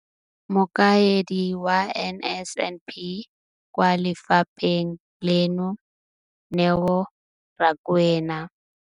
Mokaedi wa NSNP kwa lefapheng leno, Neo Rakwena,